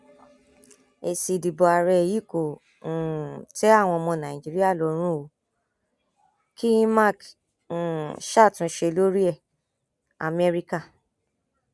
èsì ìdìbò àárẹ yìí kò um tẹ àwọn ọmọ nàìjíríà lọrùn o kí imac um ṣàtúnṣe lórí ẹ amẹríkà